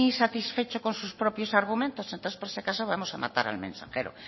satisfecho con sus propios argumentos entonces por si acaso vamos a matar al mensajero